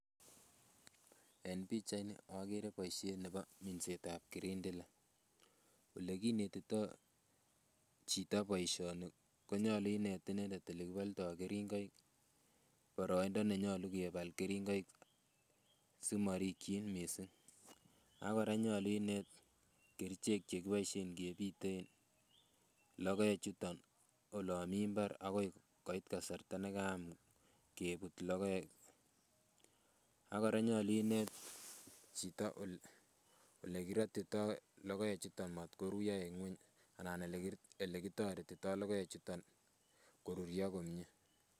En pichait ni okere boisiet nebo minset ab kirindila, olekinetitoo chito boisioni ko nyolu inet inendet elekiboldoo keringoik boroindo nenyolu kebal keringoik simorikyin missing ak kora nyolu inet kerichek chekiboisien kebiten logoek chuton olon mi mbar akoi koit kasarta nekaam kebut logoek. Ak kora nyolu inet chito olekirotitoo logoek chuton matkoruiyo en ng'weny anan elekitoretitoo logoek chuton koruryo komie